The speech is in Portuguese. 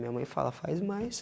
Minha mãe fala, faz mais.